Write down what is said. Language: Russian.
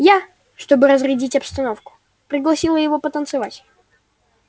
я чтобы разрядить обстановку пригласила его потанцевать